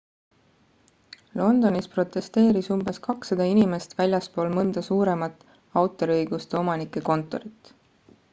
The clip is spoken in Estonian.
londonis protesteeris umbes 200 inimest väljaspool mõnda suuremat autoriõiguste omanike kontorit